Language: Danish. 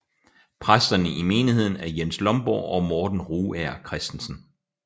Præsterne i menigheden er Jens Lomborg og Morten Rugager Kristensen